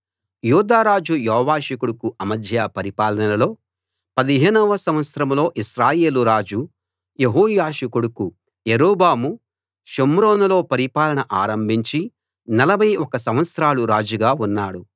యూదా రాజు యోవాషు కొడుకు అమజ్యా పరిపాలనలో 15 వ సంవత్సరంలో ఇశ్రాయేలు రాజు యెహోయాషు కొడుకు యరొబాము షోమ్రోనులో పరిపాలన ఆరంభించి 41 సంవత్సరాలు రాజుగా ఉన్నాడు